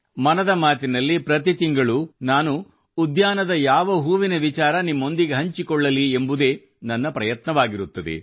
ಮನದ ಮಾತಿನಲ್ಲಿ ಪ್ರತಿ ತಿಂಗಳು ನಾನು ಉದ್ಯಾನದ ಯಾವ ಹೂವಿನ ವಿಚಾರ ನಿಮ್ಮೊಂದಿಗೆ ಹಂಚಿಕೊಳ್ಳಲಿ ಎಂಬುದೇ ನನ್ನ ಪ್ರಯತ್ನವಾಗಿರುತ್ತದೆ